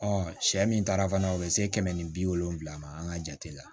sɛ min taara fana o bɛ se kɛmɛ ni bi wolonfila ma an ka jate la